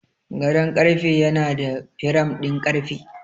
Gadon karfe yana da firam ɗin ƙarfe.